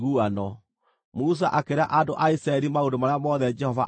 Musa akĩĩra andũ a Isiraeli maũndũ marĩa mothe Jehova aamwathĩte.